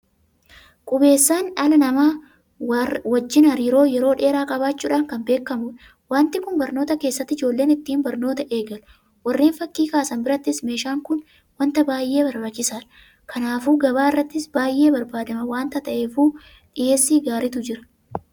Qubeessaan dhala namaa wajjin hariiroo yeroo dheeraa qabaachuudhaan kan beekamudha. Waanti kun barnoota keessatti ijoolleen ittiin barnoota eegalu. Warreen fakkii kaasan birattis meeshaan kun waanta baay'ee barbaachisaadha. Kanaafuu gabaa irrattis baay'ee barbaadamaa waanta ta'eefuu dhiyeessii gaariitu jira.